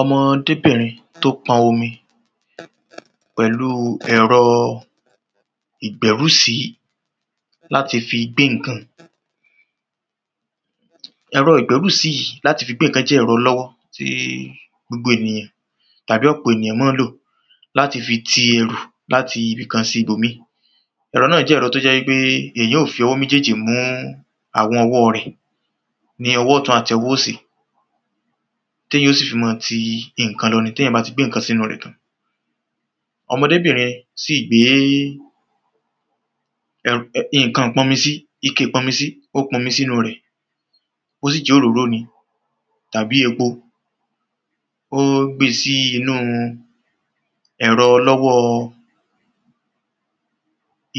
O̩mo̩débìnrin tó po̩n omi pè̩lu è̩ro̩ ìgbé̩rùsí láti fi gbé ǹkan. E̩rò̩ ìgbé̩rùsí yìí láti fi gbé ǹkã jé̩ è̩ro̩ o̩ló̩wó̩ tí gbogbo ènìyàn tàbí ò̩pò̩ ènìyàn má ń lò láti fi ti e̩rù láti ibìkan sí ibòmíì. È̩ro̩ náà jé̩ è̩ro̩ tó jé̩ wípé èyàn óò fi o̩wó̩ méjéjì mú àwo̩n o̩wó̩ rè̩ ní o̩wó̩ o̩tùn àti o̩wó̩ òsì téyàn ó sì fi má a ti nǹkan lo̩ ni téyàn bá ti gbé ǹkan sínú rè̩ tán. O̩mo̩debìnrin sì gbéé è̩r è̩ nǹkan ìpo̩nmi sí ike ìpo̩nmisí, ó sì po̩n omi sínú-un rè̩, bó sì jé̩ òróró ní tàbí epo, gbé e sínú-un è̩ro̩ o̩ló̩wó̩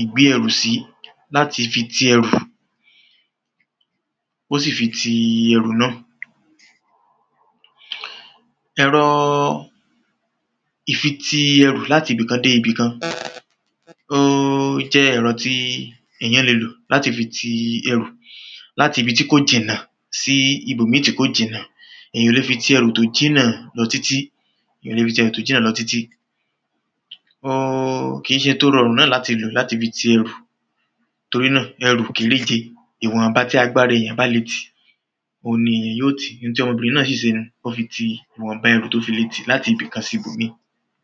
ìgbé e̩rù sí láti fi ti e̩rù. Ó sì fi ti e̩rù náà. È̩ro̩ ìfiti e̩rù láti ibìkan dé ibìkan ó jé̩ e̩ro̩ tí èyàn le lò láti fi ti e̩rù láti ibi tí kò jìnnà sí ibòmíì tí kò jìnnà. Èyàn ò le fi ti e̩rù tó jìnnà lo̩ títí Èyàn ò le fi ti e̩rù tó jìnnà lo̩ títí Óó kìí se tó ró̩rùn náà láti lò láti fi ti e̩rù. Torí náà e̩rù kéréje, ìwò̩nba tí agbára èyàn bá le tì oun ni yó tì. Ntí o̩mo̩bìnrin náà sì se nú. Ó fi ti ìwò̩nba erù tó fi le tì láti ibìkan sí ibòmíràn.